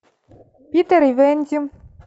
питер и венди